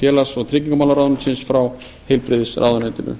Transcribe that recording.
félags og tryggingamálaráðuneytisins frá heilbrigðisráðuneytinu